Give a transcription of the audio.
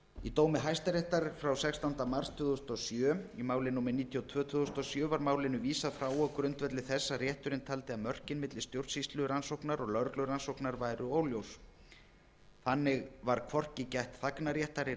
í dómi hæstaréttar frá sextánda mars tvö þúsund og sjö í máli númer níutíu og tvö tvö þúsund og sjö var málinu vísað frá á grundvelli þess að rétturinn taldi að mörkin á milli stjórnsýslurannsóknar og lögreglurannsóknar væru óljós þannig var hvorki gætt þagnarréttar í